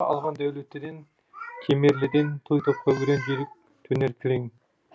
алған дәулеттіден кемерліден той топқа өрен жүйрік төнер кілең